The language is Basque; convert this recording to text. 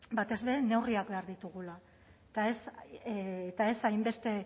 batez ere neurriak behar ditugula eta ez hainbeste